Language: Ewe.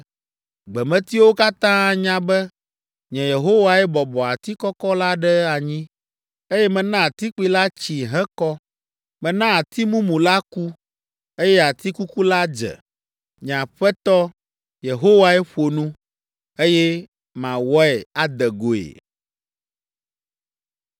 Gbemetiwo katã anya be nye Yehowae bɔbɔ ati kɔkɔ la ɖe anyi, eye mena ati kpui la tsi hekɔ. Mena ati mumu la ku, eye ati kuku la dze.’ “Nye Aƒetɔ Yehowae ƒo nu, eye mawɔe ade goe.”